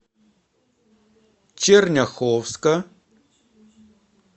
черняховска